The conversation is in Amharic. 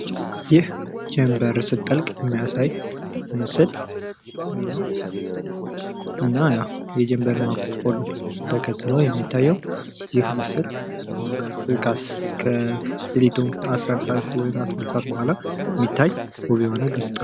ይህ ጀንበር ስትጠልቅ የሚያሳይ ምስል ነው። እና ያው የጀንበር ማቆልቆል ተከትሎ የሚታየው ይህ ምስል አስራ አንድ ሰአት ወይም አስራ ሁለት ሰአት በኋላ የሚታይ ውብ የሆነ።